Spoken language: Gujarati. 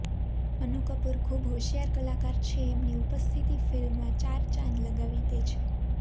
અનુ કપૂર ખૂબ હોશિયાર કલાકાર છે એમની ઉપસ્થિતિ ફિલ્મમાં ચાર ચાંદ લગાવી દે છે